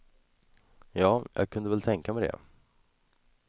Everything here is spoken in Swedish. Ja, jag kunde väl tänka mig det.